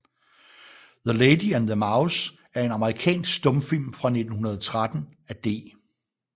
The Lady and the Mouse er en amerikansk stumfilm fra 1913 af D